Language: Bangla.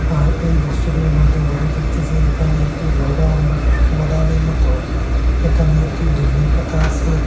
আর এই দৃশ্যটির মধ্যে বোঝা যাচ্ছে যে এখানে একটি গোডাউন গোডাউন -এর মত এখানে একটি ডিমের পাতা আছে।